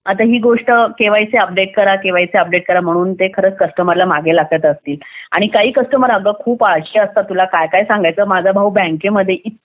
आता ही गोष्ट केवायसी अपडेट करा केवायसी अपडेट करा म्हणून ते खरं कस्टमरला मागे लागत असतील आणि काही कस्टमर आग खूप आळशी असतात तुला काय सांगू काय काय सांगायचं आता माझा भाऊ बँकेमध्ये इतके